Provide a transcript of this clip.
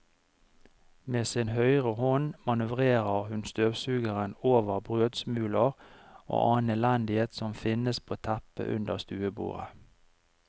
Med sin høyre hånd manøvrerer hun støvsugeren over brødsmuler og annen elendighet som finnes på teppet under stuebordet.